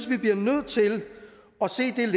vi bliver nødt til